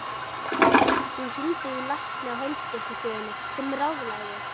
Hún hringdi í lækni á heilsugæslustöðinni sem ráðlagði